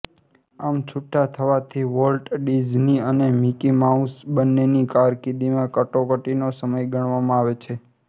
આમ છૂટા થવાથી વોલ્ટ ડિઝની અને મિકી માઉસ બંનેની કારર્કિદીમાં કટોકટીનો સમય ગણવામાં આવે છે